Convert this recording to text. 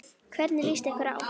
Hvernig líst ykkur á?